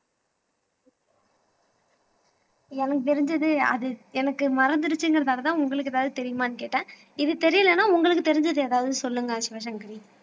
எனக்கு தெரிஞ்சது அது எனக்கு மறந்துருச்சுங்கறதாலதான் உங்களுக்கு ஏதாவது தெரியுமான்னு கேட்டேன் இது தெரியலனா உங்களுக்கு தெரிஞ்சது ஏதாவது சொல்லுங்க சிவசங்கரி